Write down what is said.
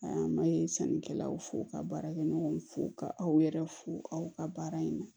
A ma ye sannikɛlaw fo ka baarakɛ ɲɔgɔnw fo ka aw yɛrɛ fo aw ka baara in na